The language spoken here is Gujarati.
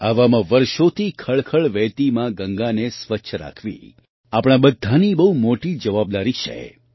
આવામાં વર્ષોથી ખળખળ વહેતી મા ગંગાને સ્વચ્છ રાખવી આપણા બધાની બહુ મોટી જવાબદારી છે